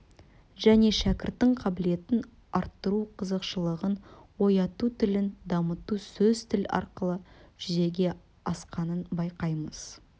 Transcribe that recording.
және шәкірттің қабілетін арттыру қызығушылығын ояту тілін дамыту сөз тіл арқылы жүзеге асқанын байқаймыз